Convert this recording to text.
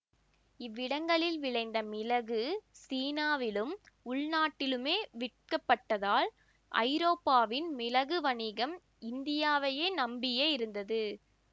இவ்விடங்களில் விளைந்த மிளகு சீனாவிலும் உள்நாட்டிலுமே விற்கப்பட்டதால் ஐரோப்பாவின் மிளகு வணிகம் இந்தியாவையே நம்பியே இருந்தது